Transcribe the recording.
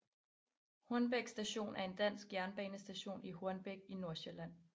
Hornbæk Station er en dansk jernbanestation i Hornbæk i Nordsjælland